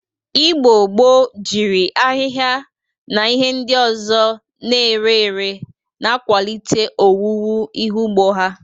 Igbo gboo jiri ahịha na ihe ndị ọzọ na-ere ere na-akwalite owuwu ihe ugbo ha.